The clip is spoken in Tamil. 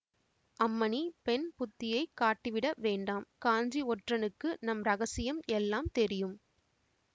அம்மணி பெண்புத்தியைக் காட்டிவிட வேண்டாம் காஞ்சி ஒற்றனுக்கு நம் இரகசியம் எல்லாம் தெரியும்